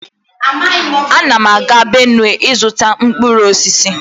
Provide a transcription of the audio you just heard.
Ana m aga Benue ịzụta mkpụrụ osisi